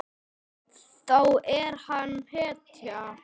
Þá er hann hetja.